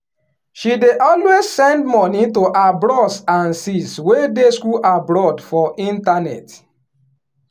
she dey always send moni to her bros and sis wey dey school abroad for internet.